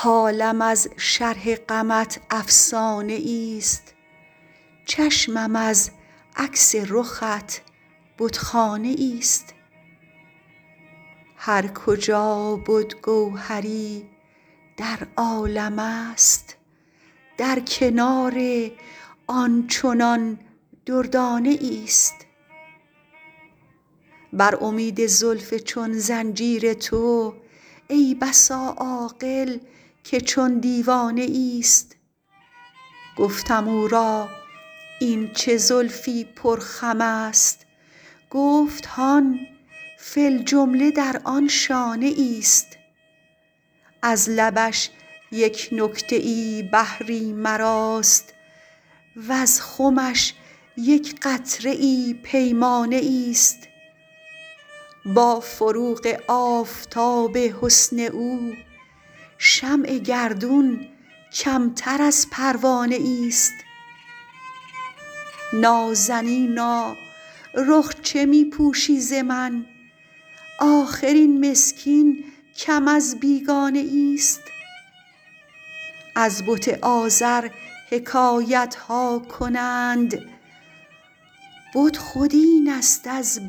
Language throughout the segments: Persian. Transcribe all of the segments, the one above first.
حالم از شرح غمت افسانهایست چشمم از عکس رخت بتخانهایست هر کجا بدگوهری در عالمست در کنار آنچنان دردانهایست بر امید زلف چون زنجیر تو ای بسا عاقل که چون دیوانه ایست گفتم او را این چه زلفـ گفت هان فی الجمله در از لبش یک نکته ای وز خمش یک قطره ای پیمانه ایست با فروغ آفتاب حســن او شمع گردون کمتر از پروانه ایست نازنینا رخ چه می پوشی ز من آخر این مسکین کم از بیگانه ایست از بت آزر حکایت ها کنــند بت خود این است از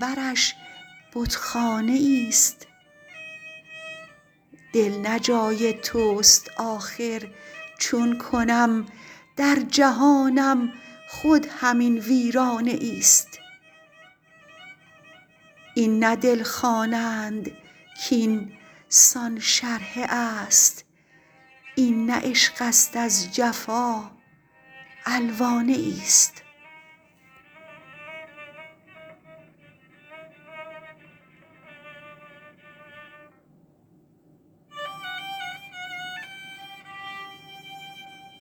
دل نه جای توست آخر چــون کنم در جهانم خود همین ویرانه ایست این نه دل خوانند کیـ این نه عشق است از